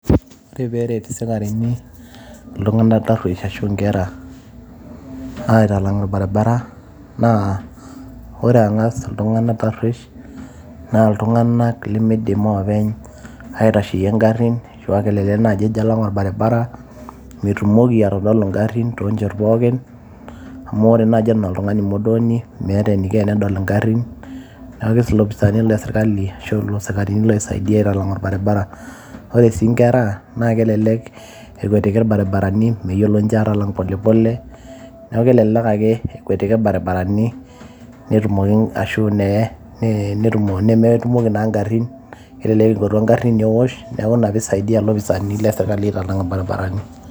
ore peeret isikarini iltung'anak tarruesh ashu inkera aitalang' orbaribara naa ore ang'as iltung'anak tarruesh naa iltung'anak limidim openy aitasheyie ing'arrin ashua kelelek naaji ejo alang orbaribara metumoki atodolu ing'arrin tonchot pookin amu ore naaji enaa oltung'ani modoni meeta eniko enedol ing'arrin neeku ilopisaani lesirkali ashu isikarini loisaidia aitalang' orbaribara ore sii inkera naa kelelek ekwetiki irbaribarani meyiolo ninche atalang' pole pole neeku kelelek ake ekwetiki irbaribarani netumoki ashu nemetumoki naa ing'arrin kelelek ekwatu eng'arri newosh neeku ina pisaidia ilopisani lesirkali aitalang' irbaribarani.